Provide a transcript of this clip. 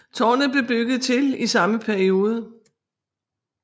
Tårnet blev bygget til i samme periode